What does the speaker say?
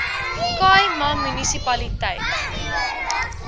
khai ma munisipaliteit